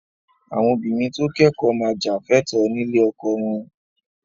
Àwọn obìnrin tó kẹ́kọ̀ọ́ máa jà fẹ́tọ̀ọ́ nílé ọkọ wọn